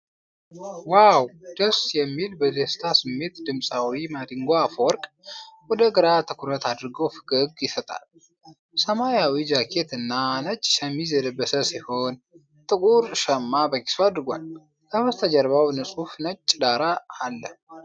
ዋው፣ ደስ የሚል! በደስታ ስሜት ድምጻዊ ማንዲጎ አፈወርቅ ወደ ግራ ትኩረት አድርጎ ፈገግታ ይሰጣል። ሰማያዊ ጃኬት እና ነጭ ሸሚዝ የለበሰ ሲሆን፣ ጥቁር ሸማ በኪሱ አድርጓል። ከበስተጀርባው ንጹህ ነጭ ዳራ አለ።